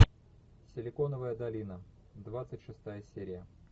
силиконовая долина двадцать шестая серия